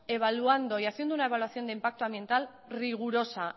evaluando y haciendo una evaluación de impacto ambiental rigurosa